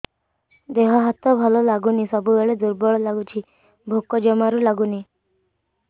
ଦେହ ହାତ ଭଲ ଲାଗୁନି ସବୁବେଳେ ଦୁର୍ବଳ ଲାଗୁଛି ଭୋକ ଜମାରୁ ଲାଗୁନି